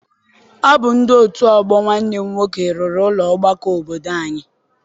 Ọ bụ ndị otu ọgbọ Nwanne m nwoke rụrụ ụlọ ọgbakọ obodo anyị.